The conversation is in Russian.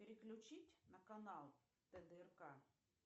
переключить на канал тдрк